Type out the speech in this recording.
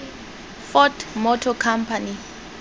ford motor company